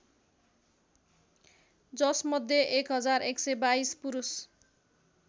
जसमध्ये ११२२ पुरुष